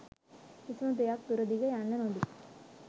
කිසිම දෙයක් දුර දිග යන්න නොදී